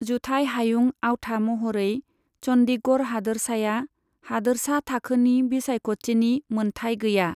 जुथाइ हायुं आवथा महरै चन्डीगढ़ हादोरसाया हादोरसा थाखोनि बिसायख'थिनि मोनथाइ गैया।